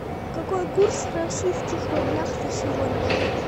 какой курс в российских рублях на сегодня